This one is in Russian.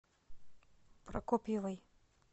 прокопьевой